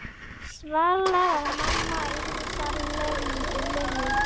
Svala var mamma Írisar Lönu.